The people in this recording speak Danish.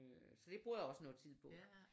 Så det bruger jeg også noget tid på